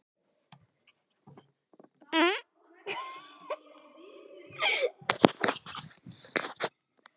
Það er varla tími til að kíkja á netið.